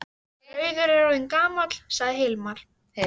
Rauður er orðinn gamall, sagði Hilmar.